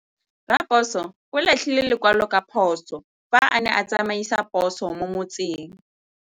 Raposo o latlhie lekwalô ka phosô fa a ne a tsamaisa poso mo motseng.